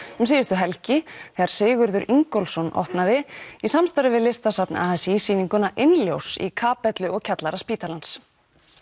um síðustu helgi þegar Sigurður Ingólfsson opnaði í samstarfi við Listasafn a s í sýninguna Innljós í kapellu og kjallara spítalans